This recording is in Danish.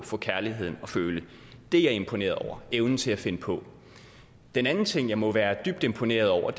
få kærligheden at føle det er jeg imponeret over evnen til at finde på den anden ting jeg må være dybt imponeret over